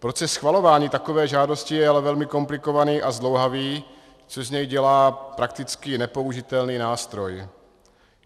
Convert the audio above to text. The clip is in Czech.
Proces schvalování takové žádosti je ale velmi komplikovaný a zdlouhavý, což z něj dělá prakticky nepoužitelný nástroj.